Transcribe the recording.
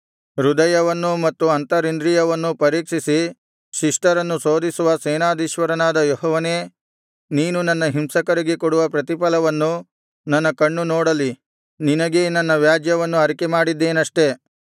ಹೃದಯವನ್ನೂ ಮತ್ತು ಅಂತರಿಂದ್ರಿಯವನ್ನೂ ಪರೀಕ್ಷಿಸಿ ಶಿಷ್ಟರನ್ನು ಶೋಧಿಸುವ ಸೇನಾಧೀಶ್ವರನಾದ ಯೆಹೋವನೇ ನೀನು ನನ್ನ ಹಿಂಸಕರಿಗೆ ಕೊಡುವ ಪ್ರತಿಫಲವನ್ನು ನನ್ನ ಕಣ್ಣು ನೋಡಲಿ ನಿನಗೇ ನನ್ನ ವ್ಯಾಜ್ಯವನ್ನು ಅರಿಕೆಮಾಡಿದ್ದೇನಷ್ಟೆ